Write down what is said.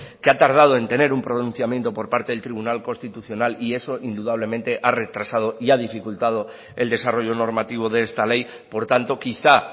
que ha tardado en tener un pronunciamiento por parte del tribunal constitucional y eso indudablemente ha retrasado y ha dificultado el desarrollo normativo de esta ley por tanto quizá